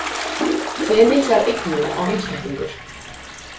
Hve miklar eignir á einstaklingur?